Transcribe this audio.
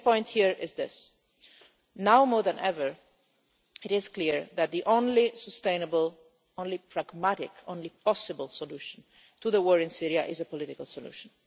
The main point here is this now more than ever, it is clear that the only sustainable, the only pragmatic, the only possible solution, to the war in Syria is a political solution.